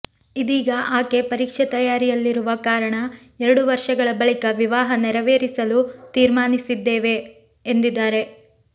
ಇದೀಗ ಆಕೆ ಪರೀಕ್ಷೆ ತಯಾರಿಯಲ್ಲಿರುವ ಕಾರಣ ಎರಡು ವರ್ಷಗಳ ಬಳಿಕ ವಿವಾಹ ನೆರವೇರಿಸಲು ತೀರ್ಮಾನಿಸಿದೇವೆ ಎಂದಿದ್ದಾರೆ